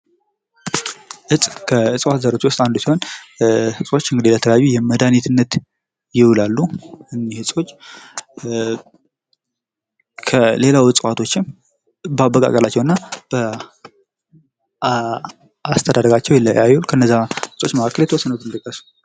እፅ ከእፅዋት ዘሮች ውስጥ አንዱ ሲሆን እፆች ለተለያዩ መድሀኒትነት ይውላሉ እኒህ እፆች ከሌላው እፅዋቶችም በአበቃቀላቸውና በአስተዳደጋቸው ይለያያሉ። ከነዛ እፆች መካከል የተወሰኑትን ጥቀስ።